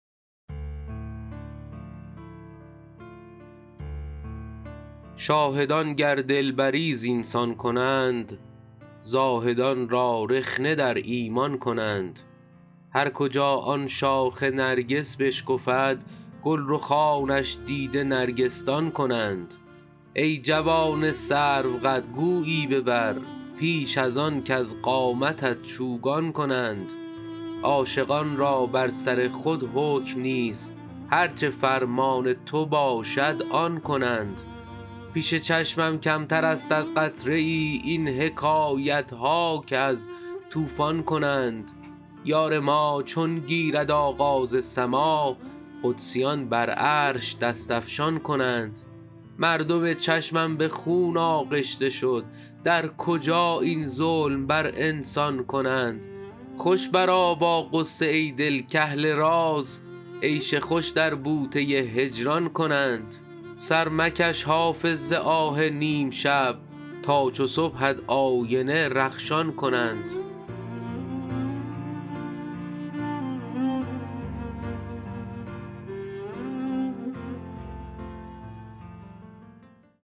شاهدان گر دلبری زین سان کنند زاهدان را رخنه در ایمان کنند هر کجا آن شاخ نرگس بشکفد گل رخانش دیده نرگس دان کنند ای جوان سروقد گویی ببر پیش از آن کز قامتت چوگان کنند عاشقان را بر سر خود حکم نیست هر چه فرمان تو باشد آن کنند پیش چشمم کمتر است از قطره ای این حکایت ها که از طوفان کنند یار ما چون گیرد آغاز سماع قدسیان بر عرش دست افشان کنند مردم چشمم به خون آغشته شد در کجا این ظلم بر انسان کنند خوش برآ با غصه ای دل کاهل راز عیش خوش در بوته هجران کنند سر مکش حافظ ز آه نیم شب تا چو صبحت آینه رخشان کنند